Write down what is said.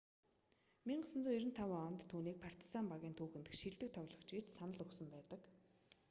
1995 онд түүнийг партизан багийн түүхэн дэх шилдэг тоглогч гэж санал өгсөн байдаг